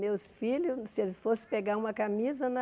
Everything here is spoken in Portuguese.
Meus filhos, se eles fossem pegar uma camisa na...